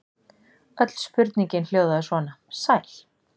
Öll spurningin hljóðaði svona: Sæl.